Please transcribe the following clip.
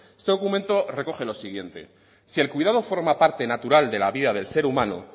este documento recoge lo siguiente si el cuidado forma parte natural de la vida del ser humano